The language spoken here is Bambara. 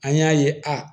An y'a ye a